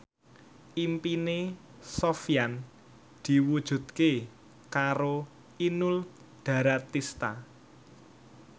impine Sofyan diwujudke karo Inul Daratista